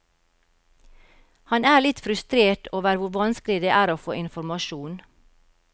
Han er litt frustrert over hvor vanskelig det er å få informasjon.